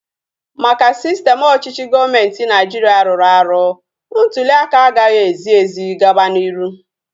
Maka sistem ọchịchị gọọmenti Naịjiria rụrụ arụ, ntuliaka agaghị ezi ezi gaba n'iru